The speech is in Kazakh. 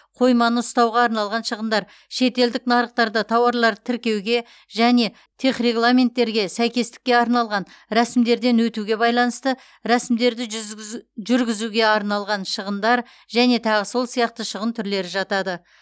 қойманы ұстауға арналған шығындар шетелдік нарықтарда тауарларды тіркеуге және техрегламенттерге сәйкестікке арналған рәсімдерден өтуге байланысты рәсімдерді жүргізуге арналған шығындар және тағы сол сияқты шығын түрлері жатады